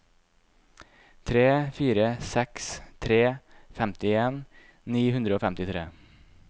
tre fire seks tre femtien ni hundre og femtitre